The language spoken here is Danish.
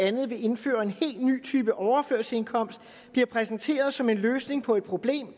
andet vil indføre en helt ny type overførselsindkomst bliver præsenteret som en løsning på et problem